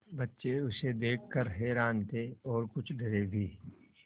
बच्चे उसे देख कर हैरान थे और कुछ डरे भी